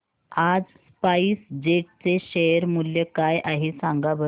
आज SpiceJet चे share मूल्य काय आहे सांगा बरं